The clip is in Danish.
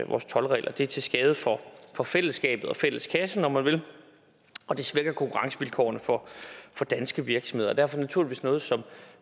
vores toldregler det er til skade for for fællesskabet og fælleskassen om man vil og det svækker konkurrencevilkårene for danske virksomheder og derfor naturligvis noget som